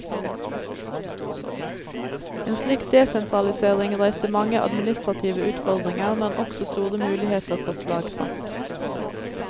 En slik desentralisering reiste mange administrative utfordringer, men også store muligheter for slagkraft.